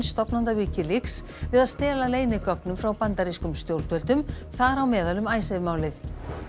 stofnanda Wikileaks við að stela leynigögnum frá bandarískum stjórnvöldum þar á meðal um Icesave málið